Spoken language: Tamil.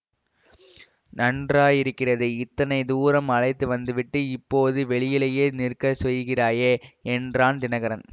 நன்றாயிருக்கிறது இத்தனை தூரம் அழைத்து வந்து விட்டு இப்போது வெளியிலேயே நிற்கச் செய்கிறாயே என்றான் தினகரன்